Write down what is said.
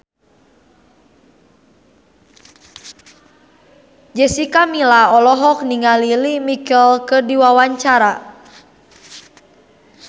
Jessica Milla olohok ningali Lea Michele keur diwawancara